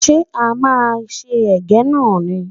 Ṣé a máa se Ẹ̀gẹ́ náà ni?